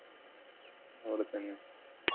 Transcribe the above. അവിടെ തന്നെ.